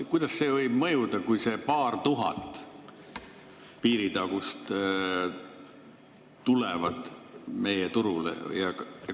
Kuidas see võib mõjuda, kui need paar tuhat piiritagust meie turule tulevad?